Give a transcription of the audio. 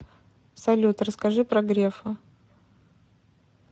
салют расскажи про грефа